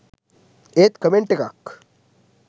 ඒත් කමෙන්ට් එකක්